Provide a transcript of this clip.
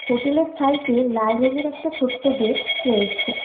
হোটেলের সাইটে লাল রঙের একটা ছোট্ট গেট রয়েছে।